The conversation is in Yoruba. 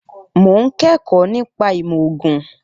Mo ń kẹ́kọ̀ọ́ nípa ìmọ̀ ògùn